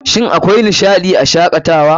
Shin akwai nishaɗii a Shakatawa?